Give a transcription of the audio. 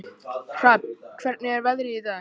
Hrafn, hvernig er veðrið í dag?